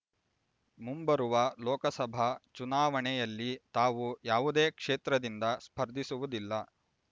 ಮುಂಬರುವ ಲೋಕಸಭಾ ಚುನಾವಣೆಯಲ್ಲಿ ತಾವು ಯಾವುದೇ ಕ್ಷೇತ್ರದಿಂದ ಸ್ಪರ್ಧಿಸುವುದಿಲ್ಲ